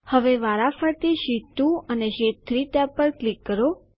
હવે વારાફરતી શીટ 2 અને શીટ 3 ટેબ પર ક્લિક કરો